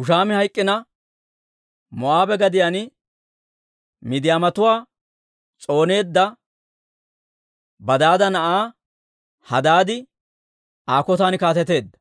Hushaami hayk'k'ina, Moo'aabe gadiyaan Midiyaamatuwaa s'ooneedda Badaada na'aa Hadaadi Aa kotan kaateteedda;